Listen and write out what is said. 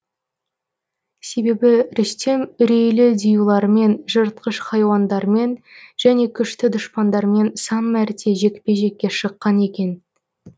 себебі рүстем үрейлі диюлармен жыртқыш хайуандармен және күшті дұшпандармен сан мәрте жекпе жекке шыққан екен